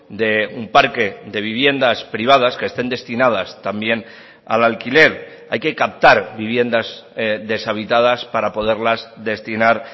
de un parque de viviendas privadas que estén destinadas también al alquiler hay que captar viviendas deshabitadas para poderlas destinar